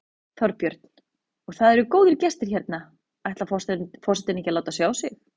Þorbjörn: Og það eru góðir gestir hérna, ætlar ekki forsetinn að láta sjá sig?